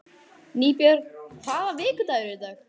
Nýbjörg, hvaða vikudagur er í dag?